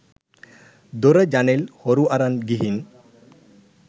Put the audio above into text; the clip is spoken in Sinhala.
දොර ජනෙල් හොරු අරන් ගිහින්.